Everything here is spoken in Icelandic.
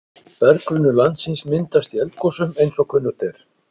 berggrunnur landsins myndast í eldgosum eins og kunnugt er